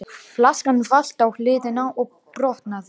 Flaskan valt á hliðina og brotnaði.